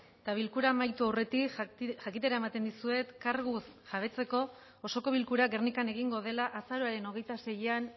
eta bilkura amaitu aurretik jakitera ematen dizuet karguz jabetzeko osoko bilkura gernikan egingo dela azaroaren hogeita seian